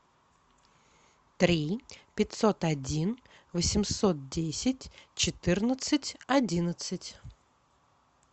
три пятьсот один восемьсот десять четырнадцать одиннадцать